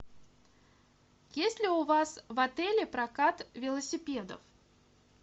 есть ли у вас в отеле прокат велосипедов